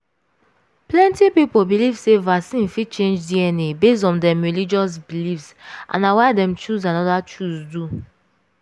plenty people believe sey vaccine fit change dna based on dem religious beliefs and na why dem choose another choose du